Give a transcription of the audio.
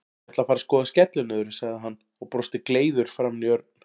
Ég ætla að fara að skoða skellinöðru, sagði hann og brosti gleiður framan í Örn.